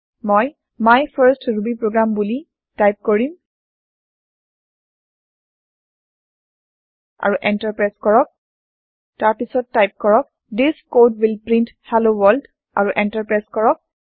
মই my first Ruby program বুলো type কৰিম আৰু এন্টাৰ প্ৰেছ কৰক তাৰ পাছত টাইপ কৰক this code will print hello world আৰু এন্টাৰ প্ৰেছ কৰক